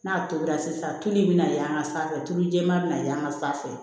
N'a tobila sisan tulu in bɛna y'an ka sanfɛ tulu jɛma bɛ na yen an ka sanfɛ